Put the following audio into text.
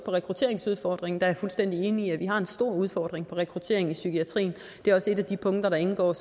på rekrutteringsudfordringen jeg er fuldstændig enig i at vi har en stor udfordring med rekruttering i psykiatrien det er også et af de punkter der indgår